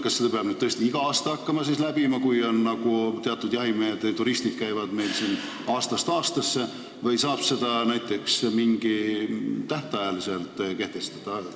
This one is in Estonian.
Kas seda peab tõesti hakkama igal aastal läbi tegema, kui teatud jahituristid käivad meil siin aastast aastasse, või saab näiteks mingi tähtaja kehtestada?